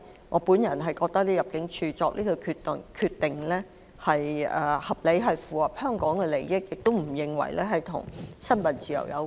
我認為入境處作出這項決定是合理之舉，符合香港利益，亦與新聞自由無關。